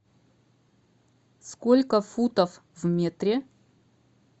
сколько футов в метре